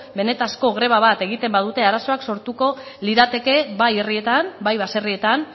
benetako greba bat egiten badute arazoak sortuko lirateke bai herrietan bai baserrietan